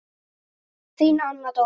Þín Anna Dóra.